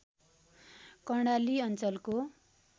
कर्णाली अञ्चलको